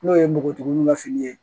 N'o ye npogotigininw ka fini ye